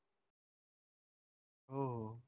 हो हो.